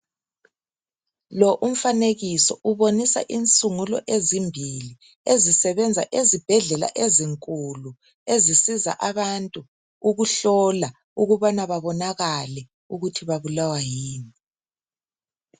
Lo umfanekiso ubonisa insungulo ezimbili ezisebenza ezibhedlela ezinkulu ezisiza abantu ukuhlola ukubana babonakale ukuthi babulawa yini.